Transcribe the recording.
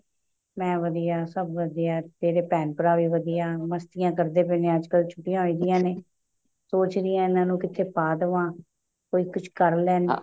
ਮੈਂ ਵਧੀਆ ਸਭ ਵਧੀਆ ਤੇਰੇ ਭੇਣ ਭਰਾ ਵੀ ਵਧੀਆ ਮਸਤੀਆਂ ਕਰਦੇ ਪਏ ਨੇ ਅੱਜਕਲ ਛੁੱਟੀਆਂ ਹੈਗੀਆਂ ਨੇ ਸੋਚ ਰਹੀ ਹਾਂ ਇਹਨਾ ਨੂੰ ਕਿਤੇ ਪਾ ਦੇਵਾਂ ਕੀ ਕੁਛ ਕਰ ਲੈਣ